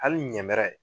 Hali ɲɛmɛrɛ